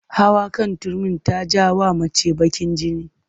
Hawa kan Turmi na ja wa mace bakin jini